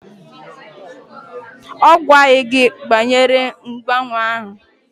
Ọ gwaghị gị banyere mgbanwe ahụ?